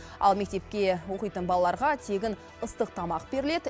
ал мектепке оқитын балаларға тегін ыстық тамақ беріледі